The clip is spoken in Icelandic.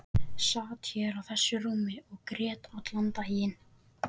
Sat hér á þessu rúmi og grét allan daginn.